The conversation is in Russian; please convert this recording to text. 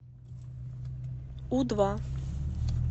у два